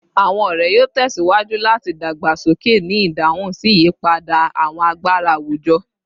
Awọn ọrẹ yoo tẹsiwaju lati dagbasoke ni idahun si iyipada awọn agbara awujọ